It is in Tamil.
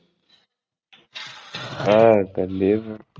ஆஹ் கண்டிப்பா